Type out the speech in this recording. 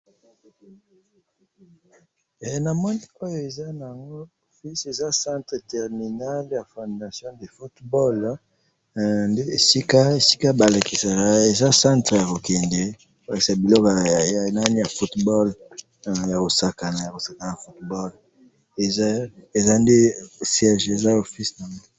Eza office ya ba beti ndembo.